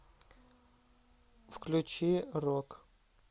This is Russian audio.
включи рок